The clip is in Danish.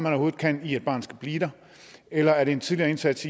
overhovedet kan i at et barn skal blive der eller er det en tidligere indsats